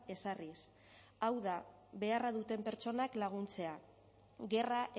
ezarriz hau da beharra duten pertsonak laguntzea gerra